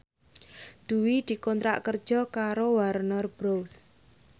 Dwi dikontrak kerja karo Warner Bros